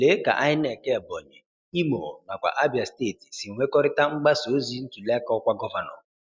Lee ka INEC Ebonyi, Imo nakwa Abia steeti si nwekọrịta mgbasa ozi ntuliaka ọkwa gọvanọ.